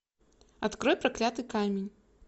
открой проклятый камень